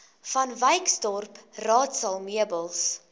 vanwyksdorp raadsaal meubels